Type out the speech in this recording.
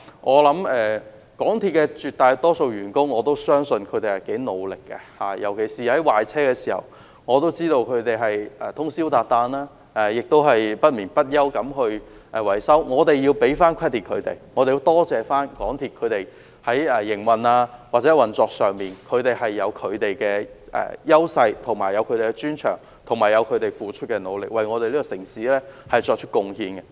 我相信絕大多數港鐵員工也頗努力，特別是在壞車時，我知道他們通宵達旦不眠不休地維修，我們要給他們一個 credit， 我們要多謝港鐵的營運或運作有其優勢和專長，以及有港鐵員工付出的努力，為我們這個城市作出貢獻。